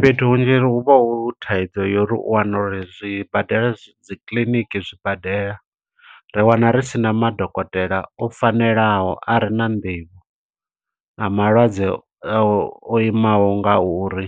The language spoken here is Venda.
Fhethu hunzhi hu vha hu thaidzo yo uri u wana uri zwibadela dzikiḽiniki zwibadela. Ra wana risina madokotela o fanelaho a re na nḓivho, na malwadze o imaho nga uri.